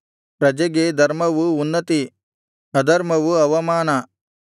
ಪ್ರಜೆಗೆ ಧರ್ಮವು ಉನ್ನತಿ ಅಧರ್ಮವು ಅವಮಾನ